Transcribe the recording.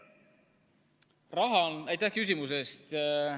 Aitäh küsimuse eest!